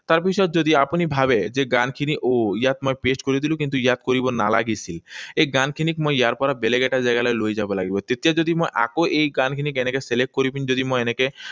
তাৰপিছত যদি আপুনি ভাৱে যে অহ, ইয়াত মই paste কৰি দিলো, কিন্তু ইয়াত কৰিব নালাগিছিল। এই গানখিনিক মই ইয়াৰ পৰা বেলেগ এটা জেগালৈ লৈ যাব লাগিব। তেতিয়া যদি আকৌ মই এই গানখিনিক এনেকৈ select কৰি যদি মই এনেকৈ